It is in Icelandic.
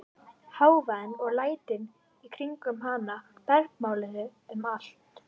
Hávaðinn og lætin í kringum hana bergmálaði um allt.